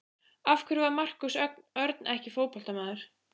Af hverju var Markús Örn ekki fótboltamaður?